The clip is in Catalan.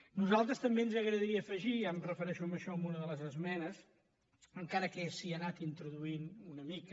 a nosaltres també ens agradaria afegir ja em refereixo amb això a una de les esmenes encara que s’hi ha anat introduint una mica